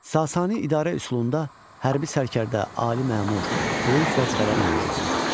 Sasani idarə üsulunda hərbi sərkərdə, ali məmur, böyük vəzifələr mövcud idi.